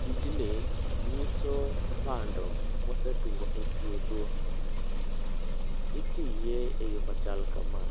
Tijni, nyiso bando mosetuo e puodho. Itiye e yo machal kama.